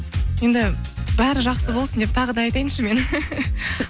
енді бәрі жақсы болсын деп тағы да айтайыншы мен